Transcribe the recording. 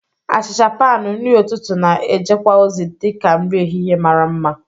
Achicha panu, nri ụtụtụ, na- ejekwa ozi dị ka nri ehihie mara mma.